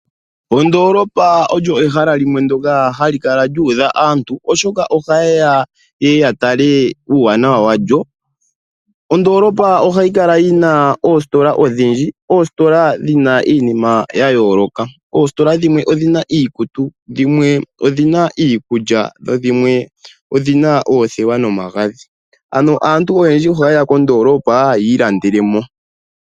Ondoolopa olyo ehala limwe ndyoka hali kala lyuudha aantu. Oshoka ohaye ya yeye ya tale uuwanawa walyo. Ondolopa ohayi kala yina oositola odhindji. Oositola dhina iinima yayooloka. Oositola dhimwe odhina iikutu dhimwe odhina iikulya. Dho dhimwe oothewa nomagadhi. Ano aantu ohayeya kondolopa yi ilandelele mo.